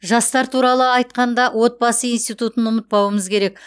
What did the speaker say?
жастар туралы айтқанда отбасы институтын ұмытпауымыз керек